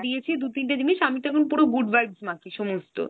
দিয়েছি দু তিনটে জিনিস। আমিতো এখন পুরো Good Vibes মাখি সমস্ত।